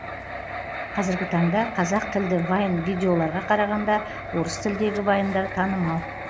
қазіргі таңда қазақ тілді вайн видеоларға қарағанда орыс тіліндегі вайндар танымал